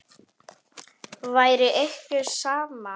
Væri ykkur sama?